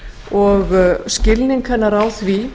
og skilning hennar á því